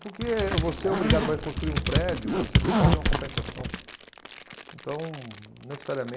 Porque você é obrigado, vai construir um prédio, você tem que fazer uma compensação. Então,